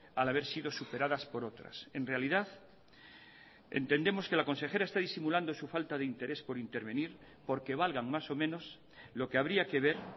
al haber sido superadas por otras en realidad entendemos que la consejera está disimulando su falta de interés por intervenir porque valgan más o menos lo que habría que ver